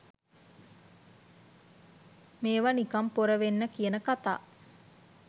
මේව නිකං පොර වෙන්න කියන කතා